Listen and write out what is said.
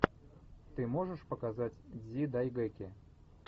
ты можешь показать дзидайгэки